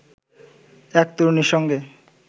এক তরুণীর সঙ্গে